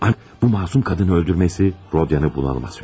Bu məsum qadını öldürməsi Rodiyanı bunalıma sürükləyir.